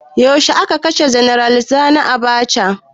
Yaushe a ka kashe janar sani Abacha?